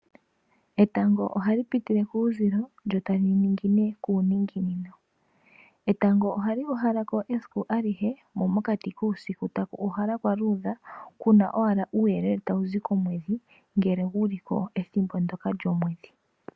Etango ohali pitile kuuzili lyo tali ningine kuuninginino. Etango oha li uhala ko esiku alihe, mo mokati kuusiku taku tokelwa kwa luudha, kuna owala uuyele tawu zi komwedhi, ngele guli ko ethimbo ndyoka lyomwedhi.